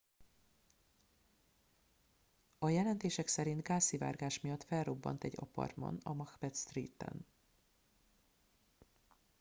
a jelentések szerint gázszivárgás miatt felrobbant egy apartman a macbeth street en